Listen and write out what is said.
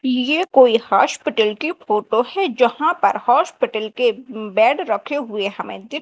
येह कोई हॉस्पिटल की फोटो हैं जहां पर अस्पताल के बेड रखे हुए हमें दिख--